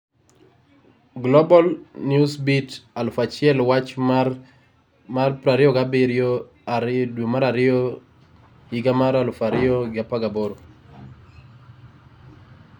Global Newsbeat 1000 wach mar 27/02/2018